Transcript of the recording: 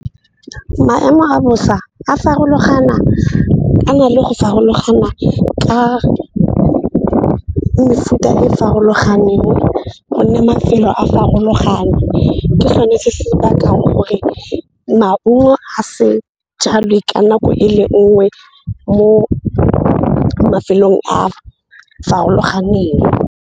Maemo a bosa a na le go farologana ka mefuta e farologaneng gonne mafelo a farologana. Ke sone se se bakang gore maungo a se jalwe ka nako e le nngwe mo mafelong a farologaneng.